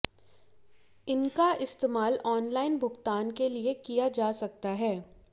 इनका इस्तेमाल ऑनलाइन भुगतान के लिए किया जा सकता है